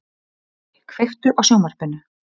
Marri, kveiktu á sjónvarpinu.